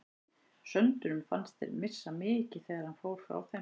Söndurum fannst þeir missa mikið þegar hann fór frá þeim.